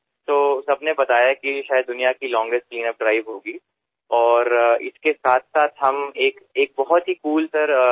सर्वांनी मला सांगितले की जगातील ही सर्वात प्रदीर्घ अशी स्वच्छता मोहीम असेल आणि त्याच बरोबर आम्ही आणखीन एक कूल गोष्ट केली